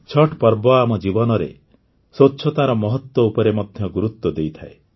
ଛଠ୍ ପର୍ବ ଆମ ଜୀବନରେ ସ୍ୱଚ୍ଛତାର ମହତ୍ୱ ଉପରେ ମଧ୍ୟ ଗୁରୁତ୍ୱ ଦେଇଥାଏ